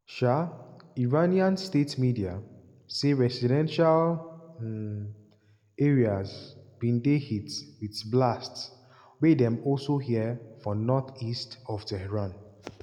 um iranian state media say residential um areas bin dey hit wit blasts wey dem also hear for north-east of tehran.